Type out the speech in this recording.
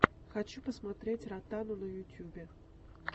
хочу посмотреть ротану на ютюбе